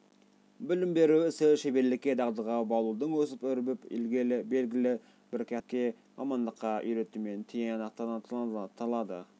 білім беру ісі шеберлікке дағдыға баулудың өсіп-өрбіп белгілі бір кәсіпке мамандыққа үйретумен тиянақталады